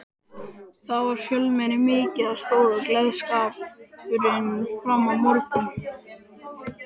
Þar var fjölmenni mikið og stóð gleðskapurinn fram á morgun.